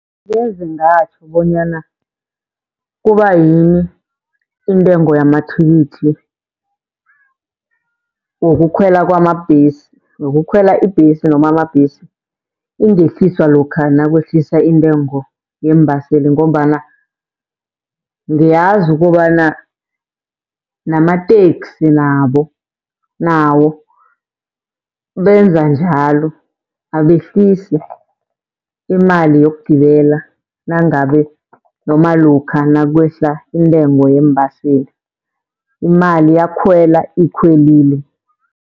Ngeze ngatjho bonyana kubayini intengo yamathikithi wokukhwela kwamabhesi, wokukhwela ibhesi noma amabhesi ingehliswa lokha nakwehlisa intengo yeembaseli. Ngombana ngiyazi kobana namateksi nabo, nawo benza njalo abehlisi imali yokugibela nangabe noma lokha nakwehla intengo yeembaseli. Imali yakhwela ikhwelile.